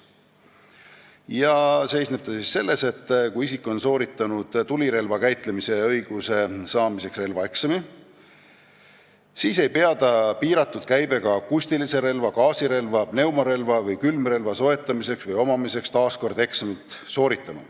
Muudatus seisneb selles, et kui isik on sooritanud tulirelva käitlemise õiguse saamiseks relvaeksami, siis ei pea ta piiratud käibega akustilise relva, gaasirelva, pneumorelva või külmrelva soetamiseks või omamiseks uuesti eksamit sooritama.